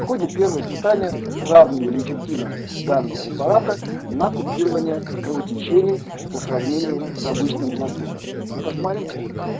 в ходе первого испытания сравнивали эффективность данного препарата на купирование кровотечений по сравнению с обычным плацидо и посмотрите